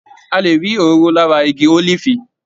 A lè rí òróró lára igi ólífì.